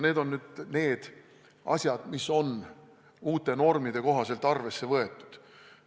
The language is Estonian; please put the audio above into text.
Need on need asjad, mida nüüd uute normide kohaselt on arvesse võetud.